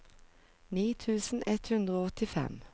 ni tusen ett hundre og åttifem